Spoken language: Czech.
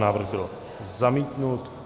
Návrh byl zamítnut.